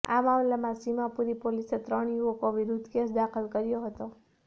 આ મામલામાં સીમાપુરી પોલીસે ત્રણ યુવકો વિરુદ્ધ કેસ દાખલ કર્યો હતો